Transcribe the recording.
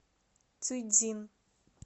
цюйцзин